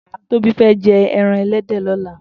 Tobi fè jè èràn èlèdè lòlá